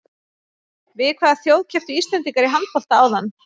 Við hvaða þjóð kepptu Íslendingar í handbolta áðan?